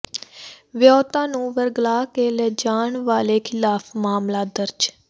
ਵਿਆਹੁਤਾ ਨੂੰ ਵਰਗਲਾ ਕੇ ਲਿਜਾਣ ਵਾਲੇ ਿਖ਼ਲਾਫ਼ ਮਾਮਲਾ ਦਰਜ